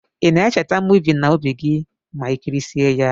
Ina echeta movi na obi gi ma ikirisie ya?